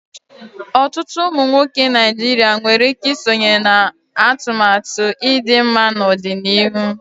Ọtụtụ ụmụ nwoke Naijiria nwere ike isonye na atụmatụ ịdị mma n'ọdịnihu.